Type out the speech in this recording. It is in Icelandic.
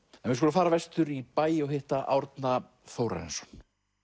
en við skulum fara vestur í bæ og hitta Árna Þórarinsson